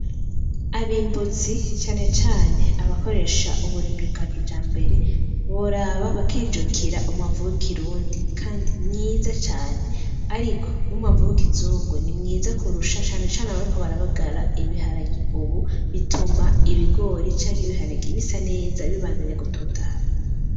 Abimbuzi cane cane abakoresha uburimyi bwa kijambere boraba bakijokera umwavu w'ikirundi kandi mwiza cane. Ariko n'umwavu w'ikizungu ni mwiza kurusha cane cane abariko barabagara ibiharage ubu bituma ibigori canke ibiharage bisa neza bibandanya gutotahara.